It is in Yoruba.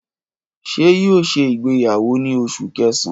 Ṣe yoo ṣe igbeyawo ni Oṣu Kẹsan?